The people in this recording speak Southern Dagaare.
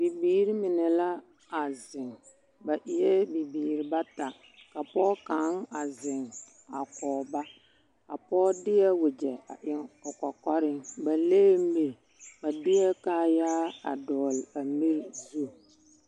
Bibiiri mine la are ba eɛ bibiiri bata ka pɔɔ kaŋ a zeŋ ka koge ba a pɔɔ deɛ wagye a eŋ o kɔkɔreŋ a kyɛ le miri ba deɛ kaayaa a dɔgele a mie zu